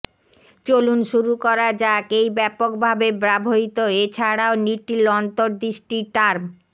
চলুন শুরু করা যাক এই ব্যাপকভাবে ব্যবহৃত এছাড়াও লিটল অন্তর্দৃষ্টি টার্ম